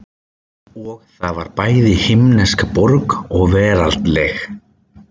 Og það var bæði himnesk borg og veraldleg.